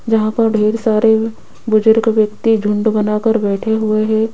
यहां पर ढेर सारे बुजुर्ग व्यक्ति झुंड बना कर बैठे हुए है।